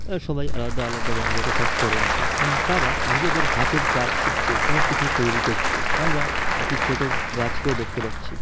এরা সবাই আলাদা আলাদা রঙের পোশাক পরে আছে এবং তারা নিজেদের হাতের কাজ শিখছে এবং কিছু তৈরী করছে আমরা একটি ছোট গাছ কেউ দেখতে পাচ্ছি।